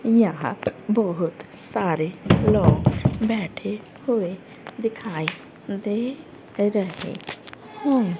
यहां बहोत सारे लोग बैठे हुए दिखाएं दे रहे है।